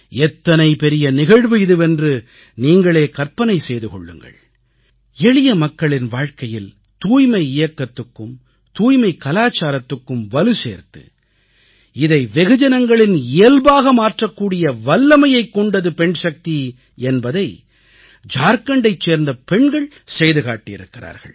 எத்தனை பெரிய நிகழ்வு இதுவென்று நீங்களே கற்பனை செய்து கொள்ளுங்கள் எளிய மக்களின் வாழ்க்கையில் தூய்மை இயக்கத்துக்கும் தூய்மைக் கலாச்சாரத்துக்கும் வலு சேர்த்து இதை வெகு ஜனங்களின் இயல்பாக மாற்றக்கூடிய வல்லமையைக் கொண்டது பெண்சக்தி என்பதை ஜார்க்கண்டைச் சேர்ந்த பெண்கள் செய்து காட்டியிருக்கிறார்கள்